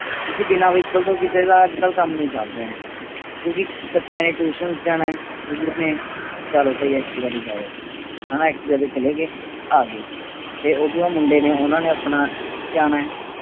ਕਿਉਂਕਿ ਬਿਨਾਂ Vehicle ਕਿਸੇ ਦਾ ਅੱਜ ਕਲ ਕੰਮ ਨਹੀਂ ਚੱਲ ਰਿਹਾ ਹੈ। ਕਿਉਕਿ ਬੱਚਿਆਂ ਦੇ Tuition ਜਾਣਾ ਹੈ ਜਾਂ ਦੂਰ ਨੇ ਚੱਲੋ ਭਾਈ Activa ਤੋਂ ਚਲੇ ਗਏ ਆਗਾਏ ਤੇ ਓਹਦੇ ਬਾਅਦ ਮੁੰਡੇ ਨੇ ਆਉਣਾ ਆਪਣਾ ਜਾਣਾ